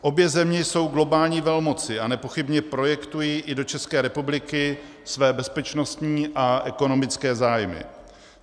Obě země jsou globální velmoci a nepochybně projektují i do České republiky své bezpečnostní a ekonomické zájmy.